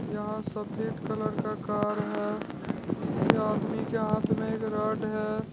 यहां सफेद कलर का कार है इस आदमी के हाथ में एक रॉड है।